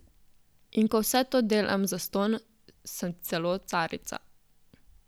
In ko vse to delam zastonj, sem celo carica.